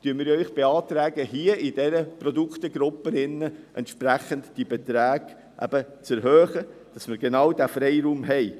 Deshalb beantragen wir Ihnen, in dieser Produktegruppe die Beträge entsprechend zu erhöhen, damit wir genau diesen Freiraum haben.